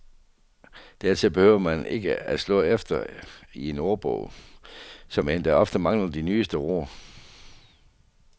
Dertil behøver man ikke at slå efter i en ordbog, som endda ofte mangler de nyeste ord.